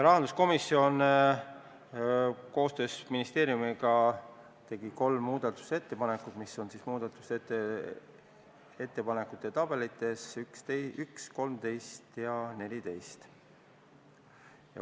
Rahanduskomisjon koostöös ministeeriumiga tegi kolm muudatusettepanekut, mis on muudatusettepanekute tabelites nr-d 1, 13 ja 14.